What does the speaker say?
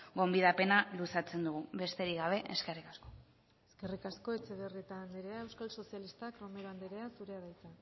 gonbidapena luzatzen dugu besterik gabe eskerrik asko eskerrik asko etxebarrieta anderea euskal sozialistak romero anderea zurea da hitza